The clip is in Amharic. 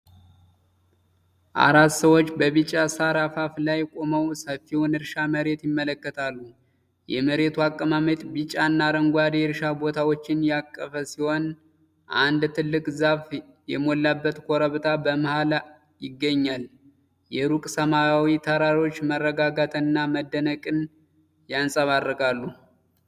አራት ሰዎች በቢጫ ሣር አፋፍ ላይ ቆመው ሰፊውን የእርሻ መሬት ይመለከታሉ። የመሬቱ አቀማመጥ ቢጫና አረንጓዴ የእርሻ ቦታዎችን ያቀፈ ሲሆን፣ አንድ ትልቅ ዛፍ የሞላበት ኮረብታ በመሀል ይገኛል። የሩቅ ሰማያዊ ተራሮች መረጋጋትን እና መደነቅን ያንጸባርቃሉ።